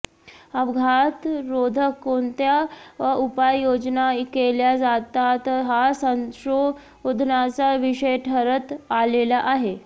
अपघातरोधक कोणत्या उपाययोजना केल्या जातात हा संशोधनाचा विषय ठरत आलेला आहे